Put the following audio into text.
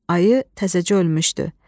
Ayı təzəcə ölmüşdü.